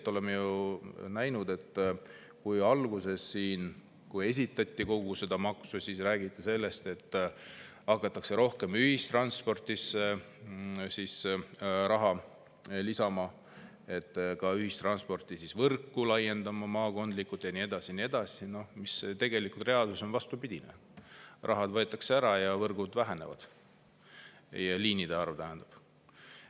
Me oleme ju selgelt näinud, et alguses, kui siin esitleti seda maksu, räägiti sellest, et hakatakse ühistransporti rohkem raha lisama, ka ühistranspordivõrku maakondlikult laiendama ja nii edasi, aga reaalsuses on vastupidi: raha võetakse ära ja liinide arv väheneb.